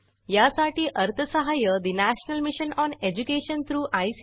001004 000959 यासाठी अर्थसहाय्य national mission on education through I